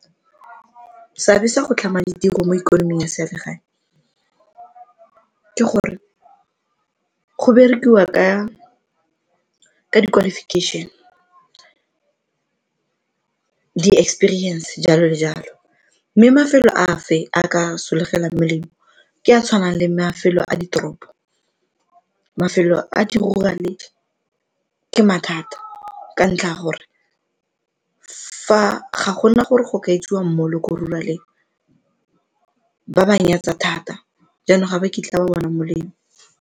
Seabe sa go tlhama ditiro mo ikonoming ya selegae, ke gore go berekiwa ka di-qualification, di-experience, jalo le jalo mme mafelo a a ka solofela molemo ke a tshwanang le mafelo a ditoropo. Mafelo a di-rural-e ke mathata ka ntlha ya gore ga gona gore go ka etsiwe mall-e ko rural-eng, ba ba nyatsa thata jaanong ga ba kitla ba bona molemo.